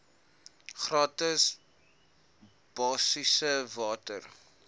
gratis basiese water